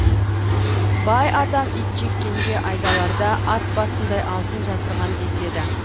бай атам итжеккенге айдаларда ат басындай алтын жасырған деседі